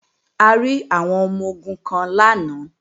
A rí àwọn ọmọ-ogun kan lánàá